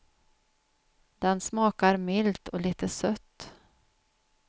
Den smakar milt och lite sött.